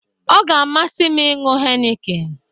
Ọ ga-amasi m iñyu heineken